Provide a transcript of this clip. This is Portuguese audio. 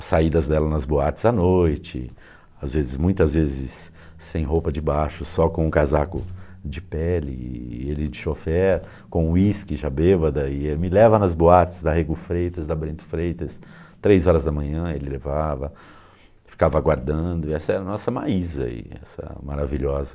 as saídas dela nas boates à noite, as vezes muitas vezes sem roupa de baixo, só com casaco de pele, ele de chofer, com uísque já bêbada, e me leva nas boates da Rego Freitas, da Brento Freitas, três horas da manhã ele levava, ficava aguardando, e essa é a nossa Maisa, essa maravilhosa...